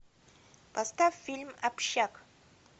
поставь фильм общак